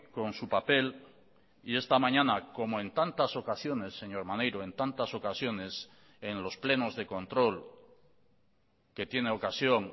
con su papel y esta mañana como en tantas ocasiones señor maneiro en tantas ocasiones en los plenos de control que tiene ocasión